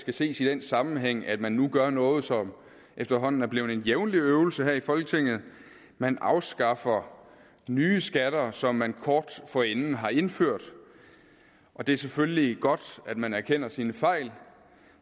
skal ses i den sammenhæng at man nu gør noget som efterhånden er blevet en jævnlig øvelse her i folketinget man afskaffer nye skatter som man kort forinden har indført og det er selvfølgelig godt at man erkender sine fejl